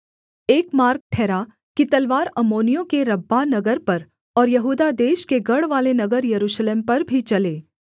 एक मार्ग ठहरा कि तलवार अम्मोनियों के रब्बाह नगर पर और यहूदा देश के गढ़वाले नगर यरूशलेम पर भी चले